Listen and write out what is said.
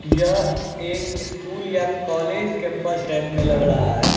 यह एक स्कूल या कॉलेज कैंपस टाइप में लग रहा है।